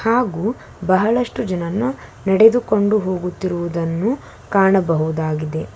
ಹಾಗು ಬಹಳಷ್ಟು ಜನನ್ನು ನಡೆದುಕೊಂಡು ಹೋಗುತ್ತಿರುವುದನ್ನು ಕಾಣಬಹುದಾಗಿದೆ.